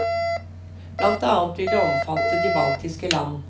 Blant annet vil det omfatte de baltiske land.